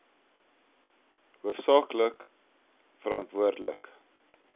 hoofsaak lik verantwoordelik